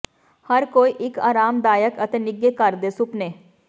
ਹਰ ਕੋਈ ਇੱਕ ਆਰਾਮਦਾਇਕ ਅਤੇ ਨਿੱਘੇ ਘਰ ਦੇ ਸੁਪਨੇ